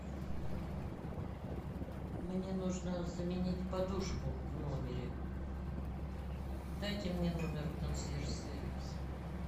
мне нужно заменить подушку в номере дайте мне номер консьерж сервиса